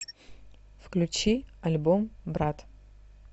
включи альбом брат